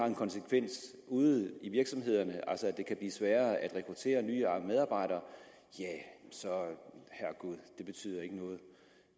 en konsekvens ude i virksomhederne altså at det kan blive sværere at rekruttere nye medarbejdere herregud det betyder ikke noget